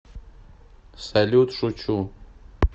салют шучу